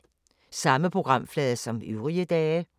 Samme programflade som øvrige dage